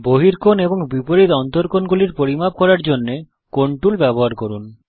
বহিকোণ এবং বিপরীত অন্তকোণ গুলি পরিমাপ করার জন্যে কোণ এঙ্গেল টুল ব্যবহার করুন